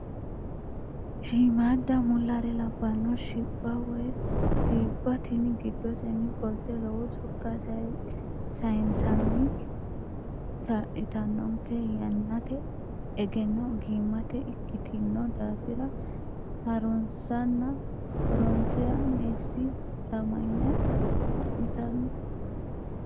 Shiimada mullare labbano shibba woyi siibba tini giddoseni qolte lowo sokka sayisanni kaa'littanonke yannate egenno ogimati ikkitino daafira harunsanna horonsira meessi hixamanya xa'mittano.